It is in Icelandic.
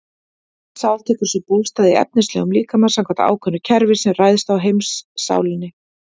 Þessi sál tekur sér bólstað í efnislegum líkama samkvæmt ákveðnu kerfi sem ræðst af heimssálinni.